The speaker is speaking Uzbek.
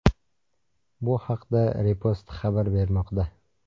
Bu haqda Repost xabar bermoqda .